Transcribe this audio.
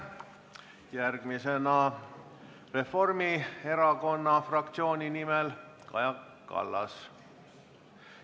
Järgmisena Reformierakonna fraktsiooni nimel Kaja Kallas.